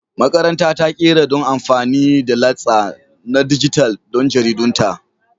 Makaranta ta ta ƙera don amfani da latsa na dijital don jaridunta